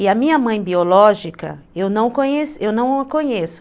E a minha mãe biológica, eu não eu não conheço.